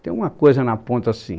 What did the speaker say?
Tem uma coisa na ponta assim.